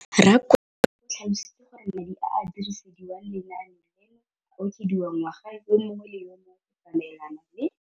Rakwena o tlhalositse gore madi a a dirisediwang lenaane leno a okediwa ngwaga yo mongwe le yo mongwe go tsamaelana le